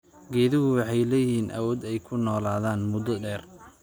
Geeduhu waxay leeyihiin awood ay ku noolaadaan muddo dheer.